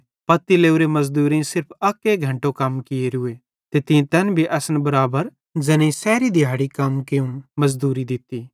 पत्ती लोरे मज़दूरेईं सिर्फ अक घैन्टो कम कियोरूए ते तीं तैन भी असन बराबर मुजुरी दित्ती